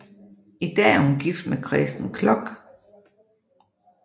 I dag er hun gift med Kresten Kloch